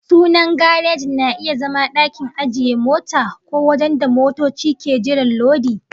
Sunan gareji na iya zama dakin ajiye mota, ko wajen da motoci ke jiran lodi